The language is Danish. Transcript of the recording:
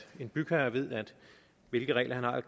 en bygherre ved hvilke regler han har